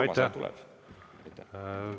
Aitäh!